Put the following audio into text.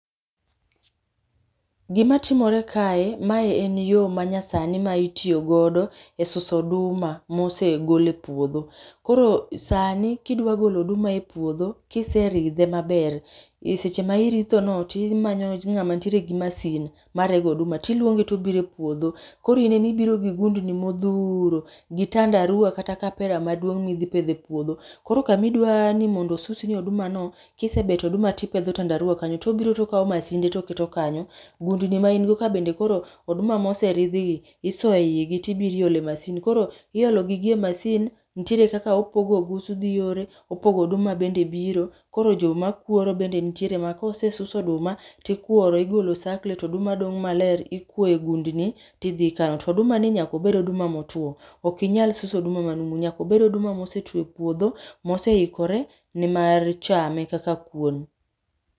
Gima timore kae mae en yoo manyasani ma itiyo godo e suso oduma mosegol e podho. Koro sani kidwa golo oduma e podho kiseridhe maber, e seche ma iritho no timanyo ngama nitie gi masin marego oduma, tiluonge tobiro e puodho. Koro in ema ibiro gi gundni modhuro gi tandarua kata kapera mipedho e puodho, koro kama idwani mondo osusnie oduma no kisebeto oduma tipedho tandarua kanyo tobiro tokao masinde toketo kanyo. Gundni ma in go ka bende koro oduma moseridh gi tisoye igi tibiro iole masin ,koro iolo gi e masin nitiere kaka opogo ogusu dhi yore, opogo oduma bende biro. Koro joma kuoro bende nitie ma kosesus oduma tikuoro igolo osakle to oduma dong maler, ikuoye gundni tidhi ikano. To oduma ni nyaka obed oduma motuo, ok inyal suso oduma ma numu.,nyaka obed oduma ma osetuo e puodho, moseikore ne mar chame kaka kuon